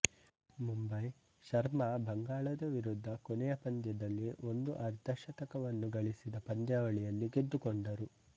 ಮುಂಬಯಿ ಶರ್ಮಾ ಬಂಗಾಳ ವಿರುದ್ಧದ ಕೊನೆಯ ಪಂದ್ಯದಲ್ಲಿ ಒಂದು ಅರ್ಧ ಶತಕವನ್ನು ಗಳಿಸಿದ ಪಂದ್ಯಾವಳಿಯಲ್ಲಿ ಗೆದ್ದುಕೊಂಡರು